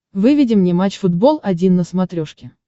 выведи мне матч футбол один на смотрешке